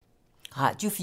Radio 4